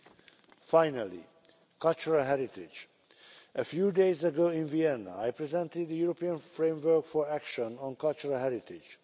Lastly, cultural heritage a few days ago in Vienna, I presented the European Framework for Action on Cultural Heritage.